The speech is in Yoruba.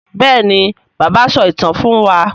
béèni bàbá so ìtàn fún wá.